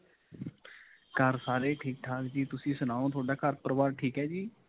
ਘਰ ਸਾਰੇ ਹੀ ਠੀਕ-ਠਾਕ ਜੀ, ਤੁਸੀ ਸਣਾਓ ਤੁਹਾਡਾ ਘਰ- ਪਰਿਵਾਰ ਠੀਕ ਹੈ ਜੀ?